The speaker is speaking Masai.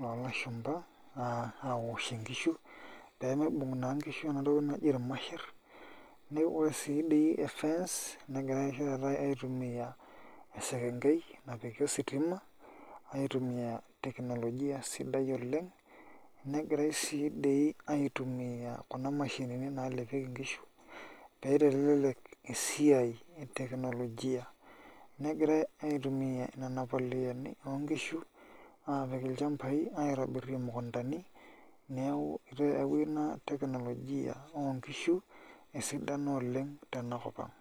loo lashumba aoshie nkishu pee miibung' naa nkishu ena toki naji irmasherr ore naa dii e fence negirai oshi taata aitumia esekengei napiki ositima aitumia teknolojia sidai oleng' egirai sii doi aitumia kuna mashinini naalepieki nkishu naitelelek esiai e teknolojia negirai aitumia nena poleani oonkishu aapik ilchambai imukundani neeku eyaua ina teknolojia ookishu esidano sapuk oleng' tenakop ang'.